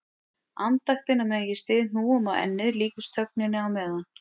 Andaktin á meðan ég styð hnúum á ennið líkust þögninni á meðan